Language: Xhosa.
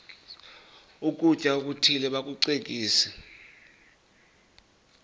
ukutya okuthile bakucekise